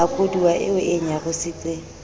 a koduwa eo e nyarositseng